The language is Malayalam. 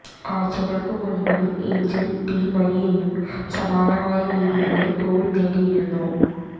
ആഴ്ച്ചകള്ക്ക് മുന്പ് എയ്ഞ്ചല് ഡി മരിയയും സമാനമായ രീതിയില് ഗോള് നേടിയിരുന്നു